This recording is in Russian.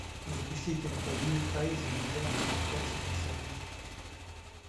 запусти кинопоэзию друзья прекрасен наш союз